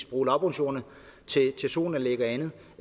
bruge lavbundsjorderne til solanlæg og andet